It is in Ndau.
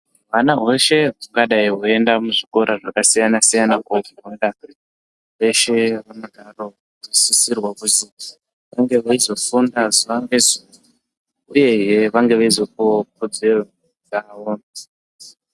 Hwana hweshe hungarai hweienda muzvikora zvakasiyana siyana kofunda veshe hunosisirwa kuzi hunge hweizofunda zuwa ngezuwa uyehe vange veizopuwawo kodzero yawo.